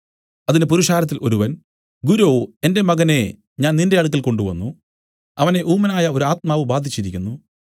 അതിന് പുരുഷാരത്തിൽ ഒരുവൻ ഗുരോ എന്റെ മകനെ ഞാൻ നിന്റെ അടുക്കൽ കൊണ്ടുവന്നു അവനെ ഊമനായ ഒരു ആത്മാവ് ബാധിച്ചിരിക്കുന്നു